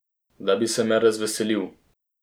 Da bi se me razveselil.